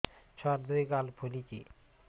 ଛୁଆର୍ ଦୁଇ ଗାଲ ଫୁଲିଚି